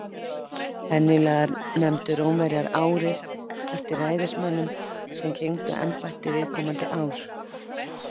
Venjulega nefndu Rómverjar árið eftir ræðismönnunum sem gegndu embætti viðkomandi ár.